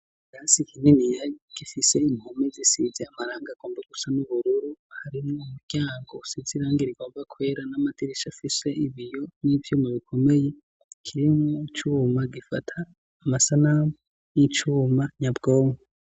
Ikirasi kininiya gifise impome zisize amarangi agomba gusa n'ubururu harimwo umuryango usize irange rigomba kwera n'amadirisha afise ibiyo n'ivyuma bikomeye kirimwo icuma gifata amasanamu n'icuma nyabwonko.